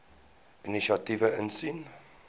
inisiatiewe insien